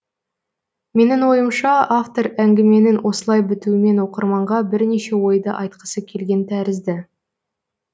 менің ойымша автор әңгіменің осылай бітуімен оқырманға бірнеше ойды айтқысы келген тәрізді